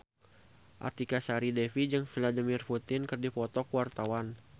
Artika Sari Devi jeung Vladimir Putin keur dipoto ku wartawan